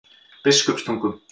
Biskupstungum